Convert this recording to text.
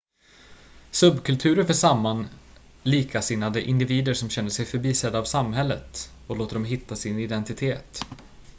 subkulturer för samman likasinnade individer som känner sig förbisedda av samhället och låter dem hitta sin identitet